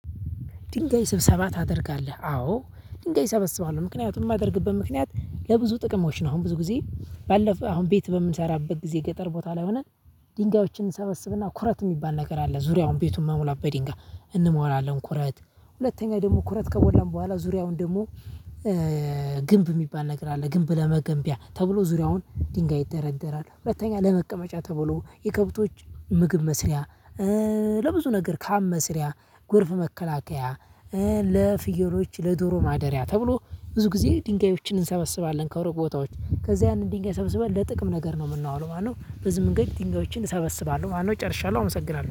ድንጋይ ስብሰባ ታደርጋለህ? አዎ ድንጋይ እሰበስባለሁ ምክንያቱም የማደርግበት ምክንያት ለብዙ ጥቅሞች ነው። አሁን ብዙ ጊዜ ባለፈ አሁን ቤት በምንሰራበት ጊዜ ገጠር ቦታ ላይ ሆነን። ድንጋዮችን እንሰበስብና ኩረት የሚባል ነገር አለ። ዙሪያውን ቤቱን መሙላት በድንጋይ እንሞራለን። ኩረት ሁለተኛ ደግሞ ኩረት ከሞላን በኋላ ዙሪያውን ደግሞ ግንብ የሚባል ነገር አለ ግንብ ለመገንቢያ ተብሎ ዙሪያውን ድንጋይ ይደረደራል። ሁለተኛ ለመቀመጫ ተብሎ የከብቶች ምግብ መስሪያ። ለብዙ ነገር ካም መስሪያ ጎርፍ መከላከያ። ለፍየሎች ለዶሮ ማደሪያ ተብሎ ብዙ ጊዜ ድንጋዮችን እንሰበስባለን። ከሩቅ ቦታዎች ከዚያ ያንን ድንጋይ ሰብስበን ለጥቅም ነገር ነው የምናውለው ማለት ነው። በዚህ መንገድ ድንጋዮችን እሰበስባለሁ ማለት ነው። ጨርሻለሁ አመሰግናለሁ